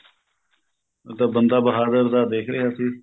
ਤਾਂ ਬੰਦਾ ਬਹਾਦਰ ਦਾ ਦੇਖ ਰਿਹਾ ਸੀ